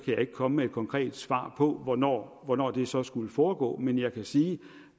jeg ikke komme med et konkret svar på hvornår hvornår det så skulle foregå men jeg kan sige